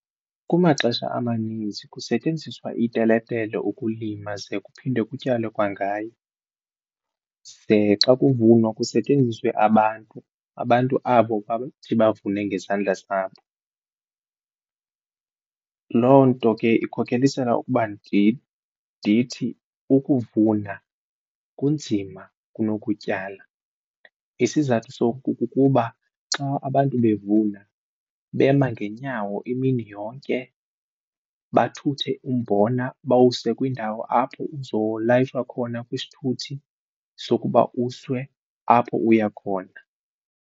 Kumaxesha amaninzi kusetyenziswa iteletele ukulima ze kuphinde kutyalwe kwangayo. Ze xa kuvunwa kusetyenziswe abantu, abantu abo bathi bavune ngezandla zabo. Loo nto ke ikhokhelisela ukuba ndithi ukuvuna kunzima kunokutyala isizathu soku kukuba xa abantu bevuna bema ngeenyawo imini yonke, bathuthe umbona bawuse kwindawo apho uzolayishwa khona kwisithuthi sokuba usiwe apho uya khona.